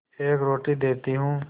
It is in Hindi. एक रोटी देती हूँ